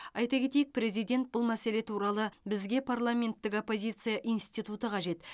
айта кетейік президент бұл мәселе туралы бізге парламенттік оппозиция институты қажет